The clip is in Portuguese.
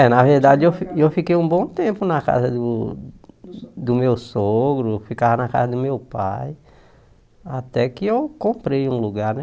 É, na verdade eu fi eu fiquei um bom tempo na casa do do meu sogro, eu ficava na casa do meu pai, até que eu comprei um lugar, né?